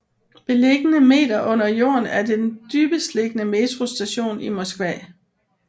Beliggende m under jorden er det den dybestliggende metrostation i Moskva